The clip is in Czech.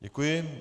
Děkuji.